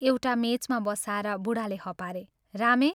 एउटा मेचमा बसाएर बूढाले हपारे " रामे!